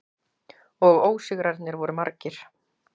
Og ósigrarnir voru margir.